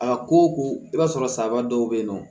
A ko ko i b'a sɔrɔ saga dɔw be yen nɔ